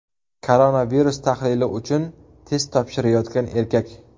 Koronavirus tahlili uchun test topshirayotgan erkak.